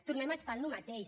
tornem a estar en el mateix